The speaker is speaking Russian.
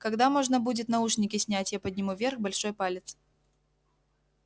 когда можно будет наушники снять я подниму вверх большой палец